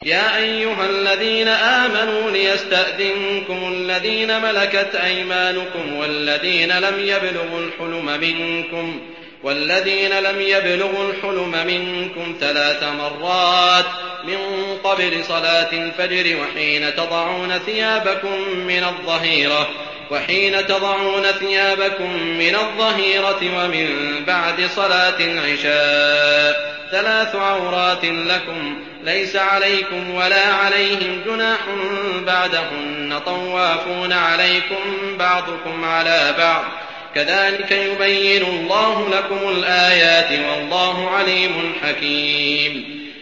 يَا أَيُّهَا الَّذِينَ آمَنُوا لِيَسْتَأْذِنكُمُ الَّذِينَ مَلَكَتْ أَيْمَانُكُمْ وَالَّذِينَ لَمْ يَبْلُغُوا الْحُلُمَ مِنكُمْ ثَلَاثَ مَرَّاتٍ ۚ مِّن قَبْلِ صَلَاةِ الْفَجْرِ وَحِينَ تَضَعُونَ ثِيَابَكُم مِّنَ الظَّهِيرَةِ وَمِن بَعْدِ صَلَاةِ الْعِشَاءِ ۚ ثَلَاثُ عَوْرَاتٍ لَّكُمْ ۚ لَيْسَ عَلَيْكُمْ وَلَا عَلَيْهِمْ جُنَاحٌ بَعْدَهُنَّ ۚ طَوَّافُونَ عَلَيْكُم بَعْضُكُمْ عَلَىٰ بَعْضٍ ۚ كَذَٰلِكَ يُبَيِّنُ اللَّهُ لَكُمُ الْآيَاتِ ۗ وَاللَّهُ عَلِيمٌ حَكِيمٌ